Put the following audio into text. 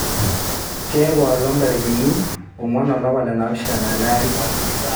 keku a olong ntarikini onguan olapa le naapishana ele ari